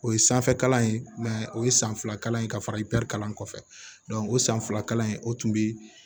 O ye sanfɛ kalan ye o ye san fila kalan in ka fara ipitari kalan kɔfɛ o san fila in o tun bi